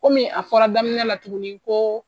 Komi a fɔra daminɛ la tugunni ko.